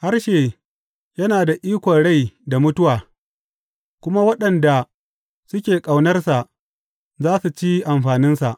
Harshe yana da ikon rai da mutuwa, kuma waɗanda suke ƙaunarsa za su ci amfaninsa.